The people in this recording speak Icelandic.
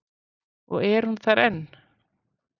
Og er hún þar enn?